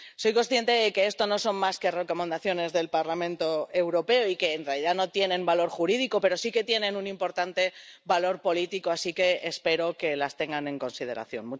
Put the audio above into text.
Soy consciente de que esto no son más que recomendaciones del Parlamento Europeo y de que, en realidad, no tienen valor jurídico, pero sí tienen un importante valor político, así que espero que las tengan en consideración.